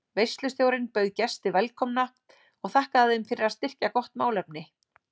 Veislustjórinn bauð gesti velkomna og þakkaði þeim fyrir að styrkja gott málefni.